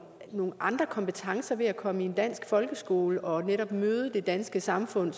andre kompetencer ved at komme i en dansk folkeskole og netop møde det danske samfund